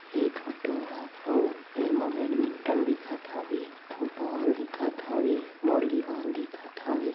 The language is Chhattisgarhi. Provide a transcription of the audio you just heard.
ए फोटो हा आऊ एम बेडमिंटन दिखत हवे फुटबॉल दिखत हवे दिखत हवे।